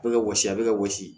Bɛ ka wɔsi a bɛ ka wɔsi